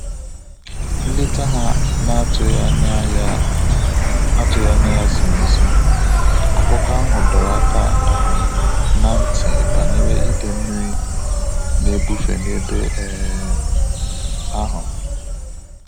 Nleta ha na atughi anya ya atughi anya ya ziri ezi, akụkọ ahu dọrọ aka um ná ntị banyere ide mmiri na ebufe na-ebe um ahu